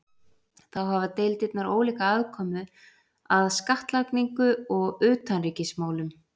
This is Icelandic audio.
Þá hafa deildirnar ólíka aðkomu að skattlagningu og utanríkismálum.